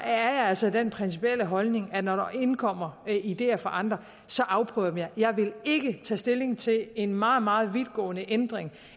altså den principielle holdning at man når der indkommer ideer fra andre afprøver dem jeg vil ikke tage stilling til en meget meget vidtgående ændring